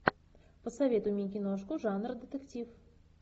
посоветуй мне киношку жанр детектив